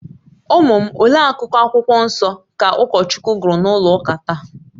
Ụmụ m, olee akụkụ Akwụkwọ Nsọ ka ụkọchukwu gụrụ na ụlọ ụka taa?